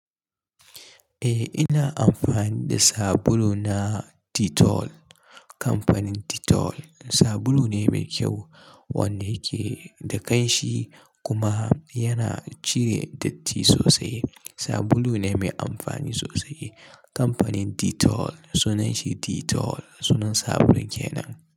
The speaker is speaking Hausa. Eh ina amfani da sabulu na Dettol. Kamfanin Dettol sabulu ne mai kyau wanda yake da ƙanshi kuma yana cire datti sosai. Sabulu ne mai amfani sosai. Kamfanin Dettol sunan shi Dettol sunan sabulun kenan.